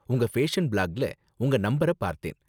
உங்க ஃபேஷன் பிளாக்ல உங்க நம்பர பார்த்தேன்.